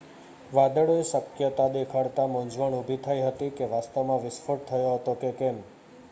વાદળોએ શક્યતા દેખાડતા મૂંઝવણ ઉભી થઈ હતી કે વાસ્તવમાં વિસ્ફોટ થયો હતો કે કેમ